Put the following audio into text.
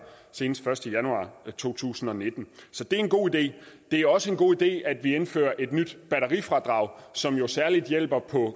senest første januar to tusind og nitten så det er en god idé det er også en god idé at vi indfører et nyt batterifradrag som jo særlig hjælper